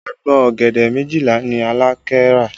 Agbọ̀n ọ̀gẹ̀dẹ̀ méjìlá ni Alake rà